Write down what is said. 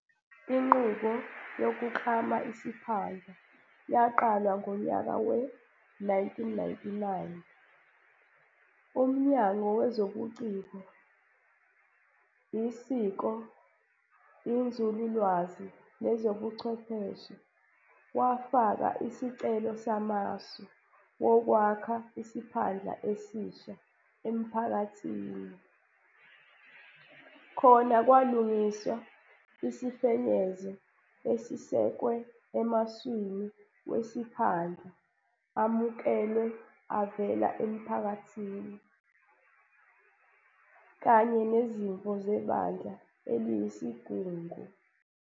Inqubo yokuklama isiphandla yaqalwa ngonyaka we-1999, uMnyango wezobuCiko, iSiko, iNzululwazi nezobuChwepheshe wafaka isicelo samasu wokwakha isiphandla esisha emphakathini. Khona kwalungiswa isifenyezo esisekwe emaswini wesiphandla amukelwe avela emphakathini, kanye nezimvo zeBandla eliyisigungu.